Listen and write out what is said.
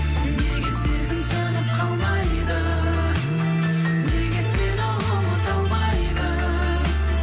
неге сезім сөніп қалмайды неге сені ұмыта алмайды